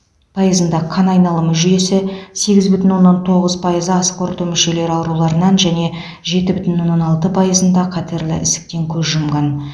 пайызында қан айналымы жүйесі сегіз бүтін оннан тоғыз пайызы асқорыту мүшелері ауруларынан және жеті бүтін оннан алты пайызында қатерлі ісіктен көз жұмған